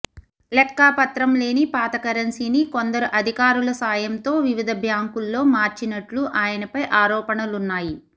లెక్కాపత్రం లేని పాత కరెన్సీని కొందరు అధికారుల సాయంతో వివిధ బ్యాంకుల్లో మార్చినట్లు ఆయనపై ఆరోపణలున్నాయి